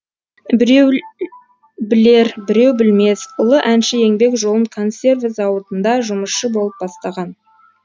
біреул білер біреу білмес ұлы әнші еңбек жолын консерві зауытында жұмысшы болып бастаған